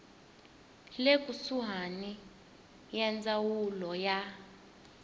le kusuhani ya ndzawulo ya